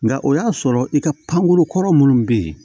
Nka o y'a sɔrɔ i ka pankuru kɔrɔ minnu bɛ yen